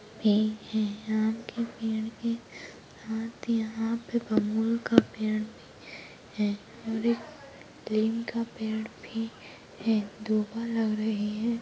भी हैं आम के पेड़ के साथ यहाँ पे बबूल का पेड़ भी है और एक नीम का पेड़ भी है दो फल लग रहे हैं।